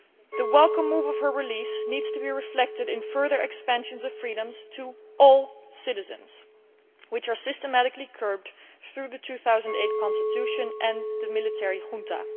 The welcome move of her release needs to be reflected in further expansions of freedoms to all citizens, which are systematically curbed through the 2008 constitution and the military junta.